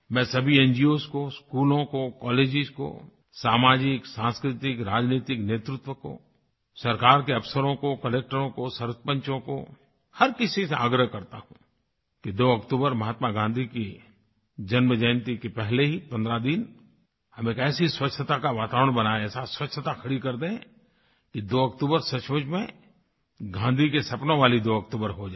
मैं सभी न्गोस को स्कूलों को कॉलेजेस को सामाजिक सांस्कृतिक राजनीतिक नेतृत्व को सरकार के अफसरों को कलेक्टरों को सरपंचों को हर किसी से आग्रह करता हूँ कि 2 अक्टूबर महात्मा गाँधी की जन्मजयंती के पहले ही 15 दिन हम एक ऐसी स्वच्छता का वातावरण बनाएं ऐसा स्वच्छता खड़ी कर दें कि 2 अक्टूबर सचमुच में गाँधी के सपनों वाली 2 अक्टूबर हो जाए